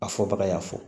A fɔ baga y'a fɔ